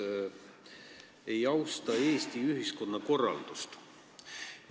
ei austa Eesti ühiskonna korraldust"?